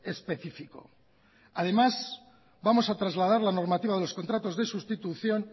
específico además vamos a trasladar la normativa de los contratos de sustitución